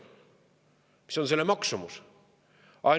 Mis on selle maksumus?